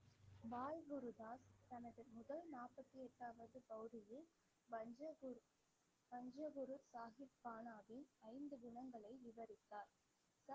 பால் குருதாஸ் தனது முதல் நாற்பத்தி எட்டாவது பவ்ரியில் பஞ்ச குரு பஞ்ச குரு சாஹிப் கானாவின் ஐந்து குணங்களை விவரித்தார்